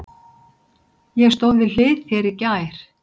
Ég stóð við hlið þér í gær.